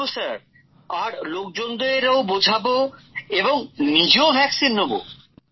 বলবো স্যার আর লোকজনদের ও বোঝাবো এবং নিজেও টিকা নেব